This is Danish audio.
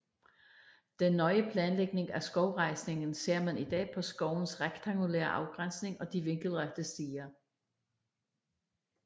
Den nøje planlægning af skovrejsningen ser man i dag på skovens rektangulære afgrænsning og de vinkelrette stier